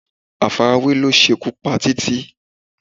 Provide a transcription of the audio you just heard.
Àfarawé ló ṣe ikú pa Títí